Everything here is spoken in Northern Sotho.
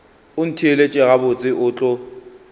o ntheelet gabotse o tlo